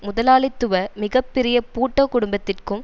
முதலாளித்துவ மிக பெரிய பூட்டோ குடும்பத்திற்கும்